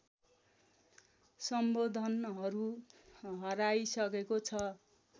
सम्बोधनहरू हराइसकेको छ